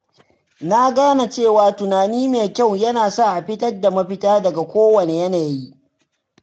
Na gane cewa tunani mai kyau yana sa a fitar da mafita daga kowane yanayi.